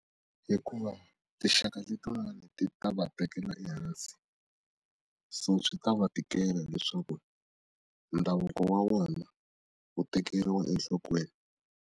Hikuva tinxaka letin'wanyani ti ta va tekela ehansi so swi ta va tikela leswaku ndhavuko wa wona wu tekeriwa enhlokweni.